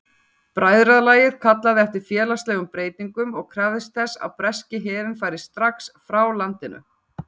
Bræðralagið kallaði eftir félagslegum breytingum og krafðist þess að breski herinn færi strax frá landinu.